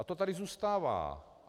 A to tady zůstává.